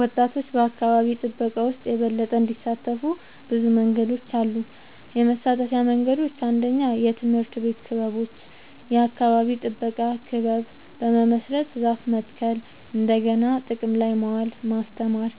ወጣቶች በአካባቢ ጥበቃ ውስጥ የበለጠ እንዲሳተፉ ብዙ መንገዶች አሉ -የመሳተፊያ መንገዶች፦ 1. የትምህርት ቤት ክበቦች – የአካባቢ ጥበቃ ክለብ በመመስረት ዛፍ መትከል፣ እንደገና ጥቅም ላይ ማዋል (recycling) ማስተማር።